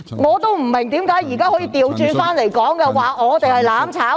我不明白為何他們現在反過來指我們想"攬炒"。